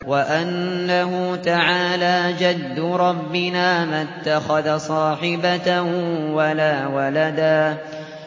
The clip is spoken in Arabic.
وَأَنَّهُ تَعَالَىٰ جَدُّ رَبِّنَا مَا اتَّخَذَ صَاحِبَةً وَلَا وَلَدًا